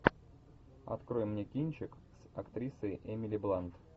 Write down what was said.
открой мне кинчик с актрисой эмили блант